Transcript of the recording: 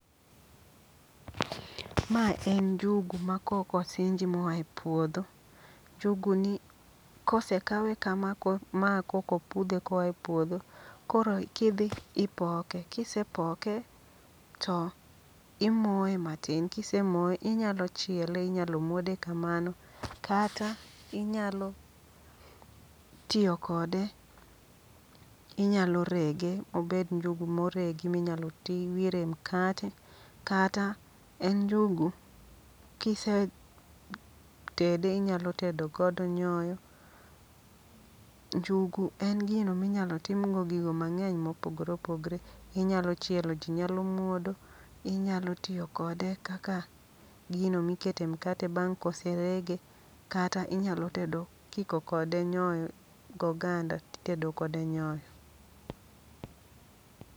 Ma en njugu ma koko sinji moa e puodho. Njugu ni kose kawe kama ma kokopudhe koa e puodho. Koro kidhi ipoke, kisepoke to imoye matin. Kise moye inyalo chiele, inyalo muode kamano. Kata inyalo tiyo kode, inyalo rege mobed njugu moregi minyalo ti wire mkate. Kata en njugu, kise tede inyalo tedo godo nyoyo. Njugu en gino minyalo timgo gigo mang'eny mopogore opogre. Inyalo chielo ji nyalo muodo, inyalo tiyo kode kaka gino mikete mkate bang' koserege. Kata inyalo tedo kiko kode nyoyo go ganda titedo kode nyoyo.